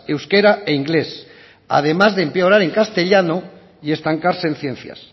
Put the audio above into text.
euskera e inglés además de empeorar en castellanos y estancarse en ciencias